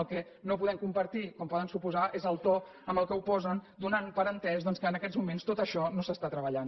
el que no podem compartir com poden suposar és el to en què ho posen que donen per entès doncs que en aquests moments tot això no s’està treballant